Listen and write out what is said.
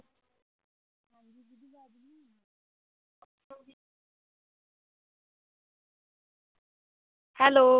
hello